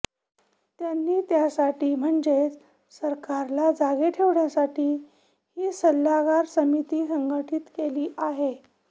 त्यांनी त्यासाठी म्हणजेच सरकारला जागे ठेवण्यासाठी ही सल्लागार समिती संघटित केली आहे